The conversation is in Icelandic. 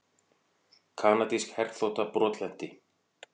Kanadísk herþota brotlenti